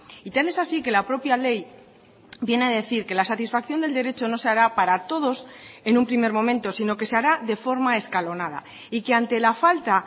y tal es así que la propia ley viene a decir que la satisfacción del derecho no se hará para todos en un primer momento sino que se hará de forma escalonada y que ante la falta